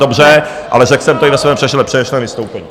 Dobře, ale řekl jsem to i ve svém předešlém vystoupení.